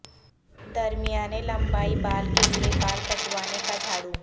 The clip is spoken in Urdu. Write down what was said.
درمیانے لمبائی بال کے لئے بال کٹوانے کا جھاڑو